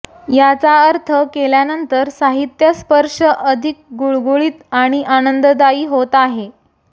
याचा अर्थ केल्यानंतर साहित्य स्पर्श अधिक गुळगुळीत आणि आनंददायी होत आहे